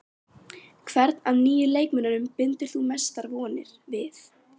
Hvern af nýju leikmönnunum bindur þú mestar vonir við?